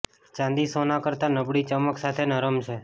ચાંદી સોના કરતાં નબળી ચમક સાથે નરમ છે